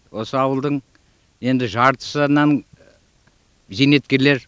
осы ауылдың енді жартысынан зейнеткерлер